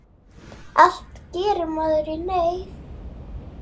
Allt gerir maður í neyð.